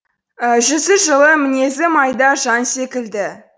жүзі жылы мінезі майда жан секілді